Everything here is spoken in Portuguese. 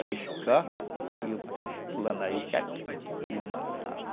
Era iscar e o peixe pulando na isca iam e matavam